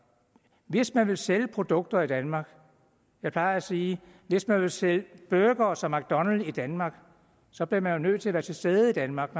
hvis man vil sælge produkter i danmark jeg plejer at sige at hvis man vil sælge burgere som mcdonalds i danmark så bliver man nødt til at være til stede i danmark